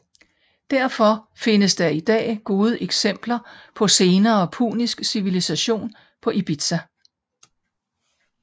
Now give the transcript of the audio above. Derfor findes der i dag gode eksempler på senere punisk civilisation på Ibizia